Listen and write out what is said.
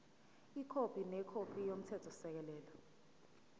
ikhophi nekhophi yomthethosisekelo